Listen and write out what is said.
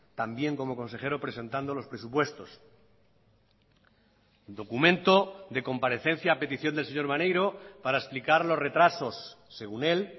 también como consejero presentando los presupuestos documento de comparecencia a petición del señor maneiro para explicar los retrasos según él